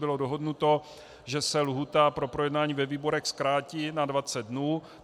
Bylo dohodnuto, že se lhůta pro projednání ve výborech zkrátí na 20 dnů.